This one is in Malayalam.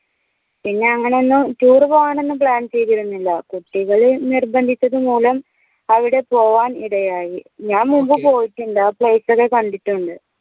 പിന്നെ അങ്ങനെ ഒന്നും tour പോവാൻ ഒന്നും plan ചെയ്തിരുന്നില്ല കുട്ടികള് നിർബന്ധിച്ചത് മൂലം അവിടെ പോവാൻ ഇടയായ ഞാൻ മുമ്പ് പോയിട്ടുണ്ട് അ place ഒക്കെ കണ്ടിട്ടുണ്ട്